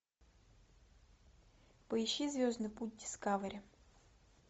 поищи звездный путь дискавери